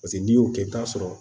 Paseke n'i y'o kɛ i bɛ t'a sɔrɔ